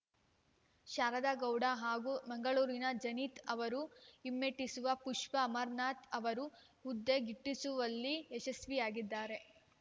ಶಾರದಾ ಗೌಡ ಹಾಗೂ ಮಂಗಳೂರಿನ ಜನೀತ್‌ ಅವರು ಹಿಮ್ಮೆಟ್ಟಿಸಿ ಪುಷ್ಪಾ ಅಮರನಾಥ್‌ ಅವರು ಹುದ್ದೆ ಗಿಟ್ಟಿಸಿಕೊಳ್ಳುವಲ್ಲಿ ಯಶಸ್ವಿಯಾಗಿದ್ದಾರೆ